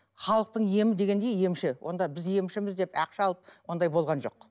халықтың емі дегенде емші онда біз емшіміз деп ақша алып ондай болған жоқ